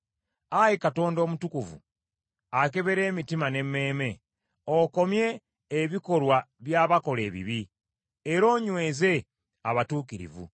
Ayi Katonda omutukuvu, akebera emitima n’emmeeme; okomye ebikolwa by’abakola ebibi: era onyweze abatuukirivu.